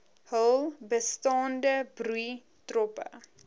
hul bestaande broeitroppe